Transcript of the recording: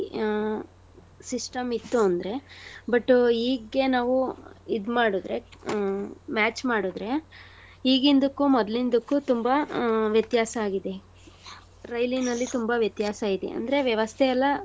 ಆ system ಇತ್ತು ಅಂದ್ರೆ but ಈಗ್ಗೆ ನಾವು ಇದ್ ಮಾಡುದ್ರೆ ಆ match ಮಾಡುದ್ರೆ ಈಗಿಂದಿಕ್ಕು ಮೊದ್ಲಿಂದಿಕ್ಕು ತುಂಬಾ ಆ ವ್ಯತ್ಯಾಸ ಆಗಿದೆ. ರೈಲಿನಲ್ಲಿ ತುಂಬಾ ವ್ಯತ್ಯಾಸ ಇದೆ. ಅಂದ್ರೆ ವ್ಯವಸ್ಥೆಯಲ್ಲಾ.